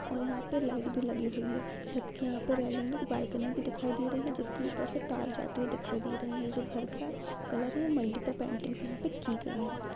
और यहां पे लाइट भी लगी हुई है छत के यहाँ पर रेलिंग पर बालकनी दिखाई दे रही है जिसके ऊपर से तार जाते हुए दिखाई दे रहे है जो घर का कलर है मल्टीप्ल पेंटिंग यहां पे की गयी है।